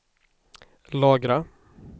lagra